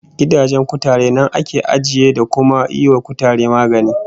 Gidajen kutare nan ake ajiye, da kuma yiwa kutare magani